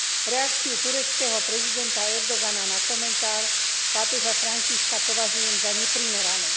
Reakciu tureckého prezidenta Erdogana na komentár pápeža Františka považujem za neprimeranú.